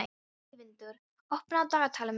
Eyvindur, opnaðu dagatalið mitt.